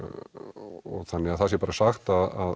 og þannig það sé bara sagt að